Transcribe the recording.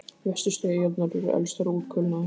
Vestustu eyjarnar eru elstar og útkulnaðar.